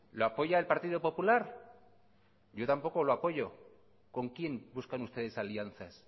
lo apoya el partido popular yo tampoco lo apoyo con quién buscan ustedes alianzas